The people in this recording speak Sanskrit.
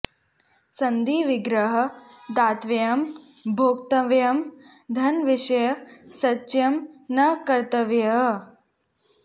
सन्धि विग्रह दातव्यं भोक्तव्यं धन विषये संचयः न कर्तव्यः